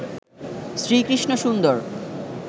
শ্রী কৃষ্ণ সুন্দর